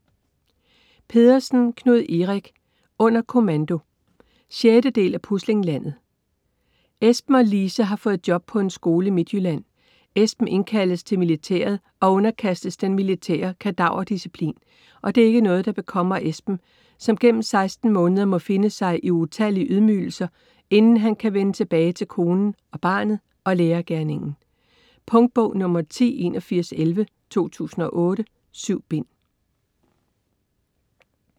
Pedersen, Knud Erik: Under kommando 6. del af Puslinglandet. Esben og Lise har fået job på en skole i Midtjylland. Esben indkaldes til militæret og underkastes den militære kadaverdisciplin, og det er ikke noget der bekommer Esben, som gennem 16 måneder må finde sig i utallige ydmygelser, inden han kan vende tilbage til konen og barnet og lærergerningen. Punktbog 108111 2008. 7 bind.